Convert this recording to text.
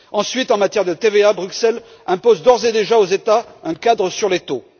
Ensuite, en matière de TVA, Bruxelles impose d'ores et déjà aux États un cadre sur les taux.